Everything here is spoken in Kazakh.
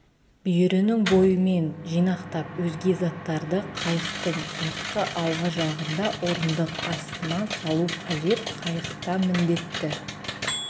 бүйірінің бойымен жинақтап өзге заттарды қайықтың артқы алғы жағында орындық астына салу қажет қайықта міндетті